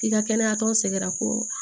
I ka kɛnɛya tɔn sɛgɛrɛ ko